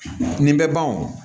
Nin bɛ ban o